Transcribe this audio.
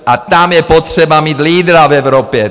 A tam je potřeba mít lídra v Evropě!